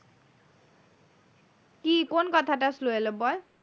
কি কোন কথাটা slow এলো বল।